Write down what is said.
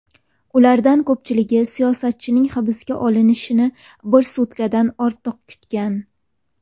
Ulardan ko‘pchiligi siyosatchining hibsga olinishini bir sutkadan ortiq kutgan.